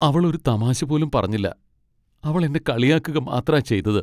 അവൾ ഒരു തമാശ പോലും പറഞ്ഞില്ല, അവൾ എന്നെ കളിയാക്കുക മാത്രാ ചെയ്തത്.